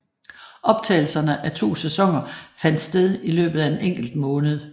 Optagelserne af to sæsoner fandt sted i løbet af en enkelt måned